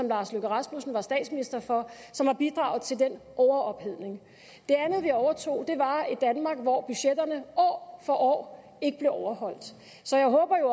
lars løkke rasmussen var statsminister for som har bidraget til den overophedning det andet vi overtog var et danmark hvor budgetterne år for år ikke blev overholdt så jeg håber jo